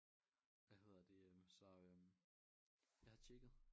Hvad heder det øh så øh jeg har tjekket